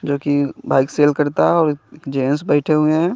जोकि bike sale करता है और जेन्स बेठे हुए है।